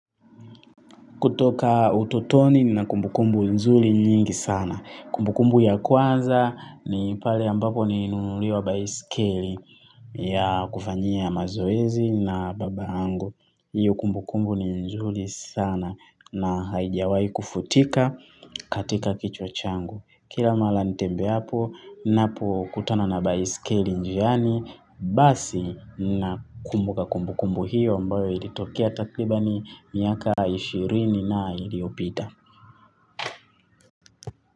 Kutoka utotoni nina kumbukumbu nzuri nyingi sana. Kumbukumbu ya kwanza ni pale ambapo nilinunuliwa baiskeli ya kufanyia mazoezi na baba yangu. Iyo kumbukumbu ni nzuri sana na haijawai kufutika katika kichwa changu. Kila mara nitembeapo, ninapo kutana na basikeli njiani, basi nakumbuka kumbukumbu hiyo ambayo ilitokea takribani miaka ishirini na iiyopita.